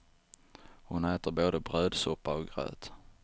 Hon äter både brödsoppa och gröt.